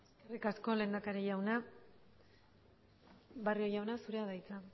eskerrik asko lehendakari jauna barrio jauna zurea da hitza